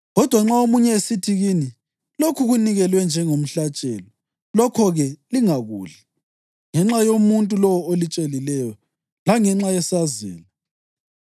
Kodwa nxa omunye esithi kini, “Lokhu kunikelwe njengomhlatshelo,” lokho-ke lingakudli, ngenxa yomuntu lowo olitshelileyo langenxa yesazela,